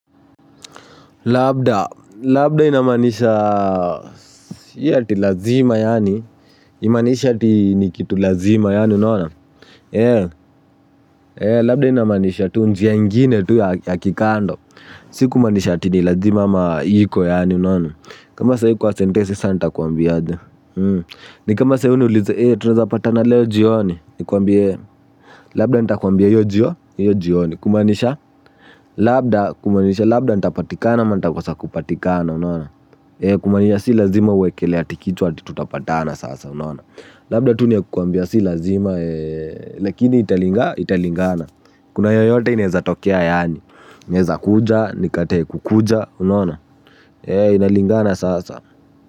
Labda, labda inamaanisha, ati lazima yaani, imanisha ti nikitu lazima yaani, unona? E, e, labda inamanisha tu njia ingine tu ya kikando, si kumanisha ti nilazima ama iiko yaani, unona? Kama sayi kwa sentesi sana nitakuambia, unona? Ni kama sayi niulize, e, tunazapatana leo jioni, nikuambie, labda nita kuambie iyo jio, yo jioni, kumanisha, labda, kumanisha labda nitapatikana ma nita kosa kupatikana, unona? Kumanisha si lazima uwekelea tikitu hati tutapatana sasa unona. Labda tu niakukuambia si lazima. Lakini italinga italingana. Kuna yoyote ineza tokea yani. Neza kuja nikatae kukuja unona. Inalingana sasa.